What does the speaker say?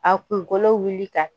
A kunkolo wuli ka